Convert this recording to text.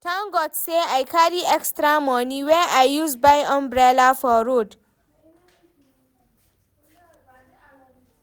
Tank God sey I carry extra moni wey I use buy umbrella for road.